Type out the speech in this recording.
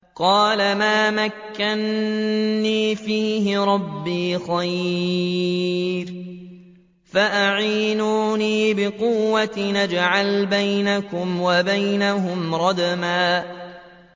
قَالَ مَا مَكَّنِّي فِيهِ رَبِّي خَيْرٌ فَأَعِينُونِي بِقُوَّةٍ أَجْعَلْ بَيْنَكُمْ وَبَيْنَهُمْ رَدْمًا